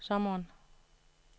sommeren